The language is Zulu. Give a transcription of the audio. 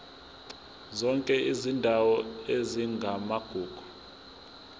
zonke izindawo ezingamagugu